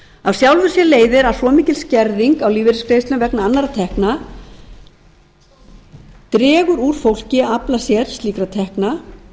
af sjálfu leiðir að svo mikil skerðing á lífeyrisgreiðslum vegna annarra tekna dregur úr fólki að afla sér slíkra tekna